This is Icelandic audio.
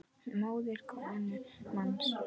móðir konu manns